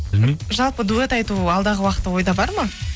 білмеймін жалпы дуэт айту алдағы уақытта ойда бар ма